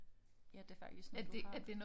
Ja det faktisk noget du har